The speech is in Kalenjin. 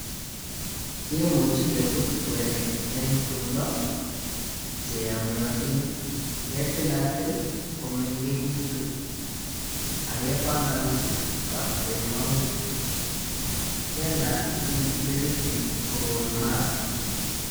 Kimuch kebut kwenik eng tumdo che yomnyotin, ketilatil komengekitu ak kepanganji kapkoimaut, kelal ing kibiritit kokon maat.